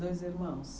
Dois irmãos?